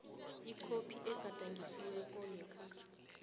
ikhophi egadangisiweko yekhasi